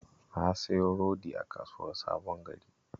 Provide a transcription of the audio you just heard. Na siyo rodi a Kasuwar Sabon Gari